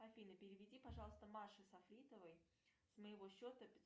афина переведи пожалуйста маше сафитовой с моего счета